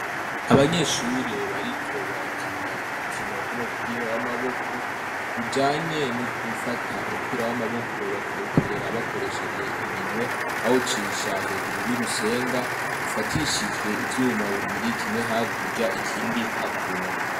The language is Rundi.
Abanyeshuri bariko barakina urukino rw'umupira w'amaboko rujanye no gufata umupira w'amaboko bakawuterera bakoresheje iminwe bawucisha hejuru y'urusenga rufatishijwe ivyuma bibiri kimwe ha kurya ikindi hakuno.